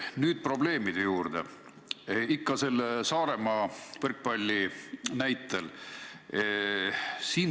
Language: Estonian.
Nüüd probleemide juurde, ikka selle Saaremaa võrkpalli näitel.